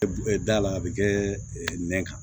Da la a bɛ kɛ nɛn kan